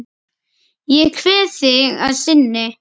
Ég kveð þig að sinni.